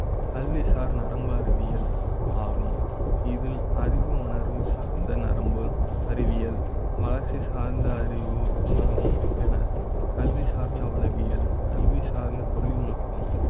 கல்வி சார் நரம்பு அறிவியல் ஆகும். இதில் அறிவு உணர்வு சார்ந்த நரம்பு அறிவியல் மகிழ்ச்சி சார்ந்த அறிவு வரும் என கல்வி சார்ந்த உளவியல் சார்ந்த தொழில்நுட்ப ம்,